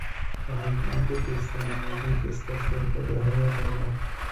Waxay gacan ka geystaan ??hagaajinta iskaashiga ka dhexeeya qaybaha.